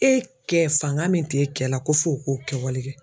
E kɛ fanga min t'e kɛ la ko f'o k'o kɛwale kɛ.